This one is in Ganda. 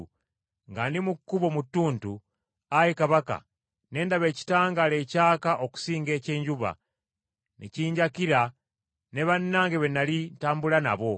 nga ndi mu kkubo mu ttuntu, ayi Kabaka, ne ndaba ekitangaala ekyaka okusinga eky’enjuba, ne kinjakira ne bannange be nnali ntambula nabo.